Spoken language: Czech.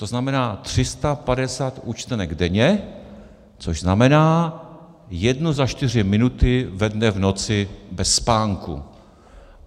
To znamená, 350 účtenek denně, což znamená, jedna za čtyři minuty ve dne v noci bez spánku.